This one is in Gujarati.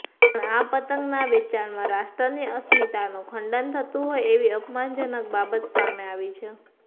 પણ આ પતંગના વેચાણમાં રાષ્ટ્રની અસસ્મિતાનું ખંડન થતું હોય તેવી અપમાનજનક બાબત સામે આવી છે